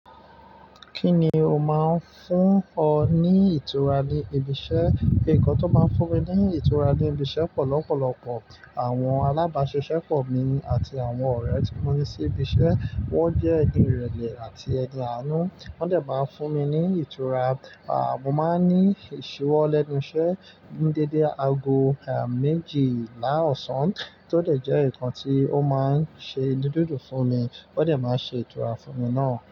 Kí ni o máa ń fún ọ ní ìtura ní ibi iṣẹ́? Nǹkan tó máa ń fún mi ní ìtura ní ibi iṣẹ́ pọ lọpọlọpọ àwọn alábàáṣẹ́ṣẹ́ pọ̀ mí àti àwọn ọ̀rẹ́ tí mo ní sí ibi iṣẹ́. Wọ́n jẹ́ ẹni irẹlẹ àti ẹni aanu wọ́n dẹ̀ máa ń fún mi ní ìtura. Mo máa ń ní ìṣiwọ lẹnu iṣẹ ní dédé aago, ẹ́, méjìlá ọ̀sán, tó dẹ̀ jẹ́ nǹkan tí ó máa ń ṣe inu dundun fún mi. O dẹ̀ máa ṣe ìtura fún mi náà.